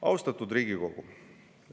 Austatud Riigikogu!